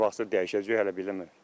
Nə vaxtsa dəyişəcəyi hələ bilmirəm.